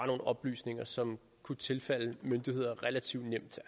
nogle oplysninger som kunne tilfalde myndigheder relativt nemt